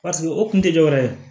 o kun tɛ dɔwɛrɛ ye